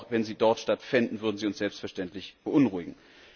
Aber auch wenn sie dort stattfänden, würden sie uns selbstverständlich beunruhigen.